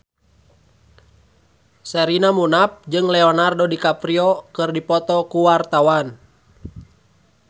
Sherina Munaf jeung Leonardo DiCaprio keur dipoto ku wartawan